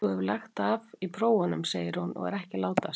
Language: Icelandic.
Þú hefur lagt af í prófunum, segir hún og er ekki að látast.